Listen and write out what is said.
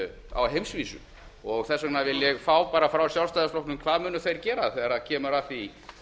á heimsvísu þess vegna vil ég fá bara frá sjálfstæðisflokknum hvað munu þeir gera þegar kemur að því